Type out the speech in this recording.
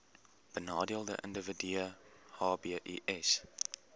benadeelde individue hbis